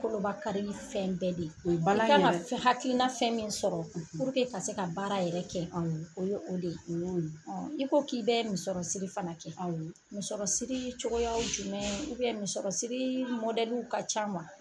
Kolobakarili fɛn bɛɛ de ye nin bala in yɛrɛ i ka ŋa f hakilina fɛn min sɔrɔ , ka se ka baara yɛrɛ kɛ awɔ o ye o de ye o y'o ye. i ko k'i bɛɛ misɔrɔsiri fana kɛ awɔ misɔrɔsirii cogoyaw jumɛn misɔrɔsiri ka can wa ?